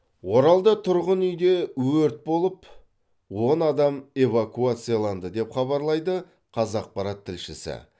оралда тұрғын үйде өрт болып он адам эвакуацияланды деп хабарлайды қазақпарат тілшісі